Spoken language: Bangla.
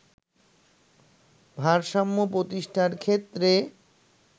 ভারসাম্য প্রতিষ্ঠার ক্ষেত্রে